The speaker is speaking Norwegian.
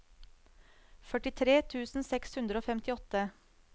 førtitre tusen seks hundre og femtiåtte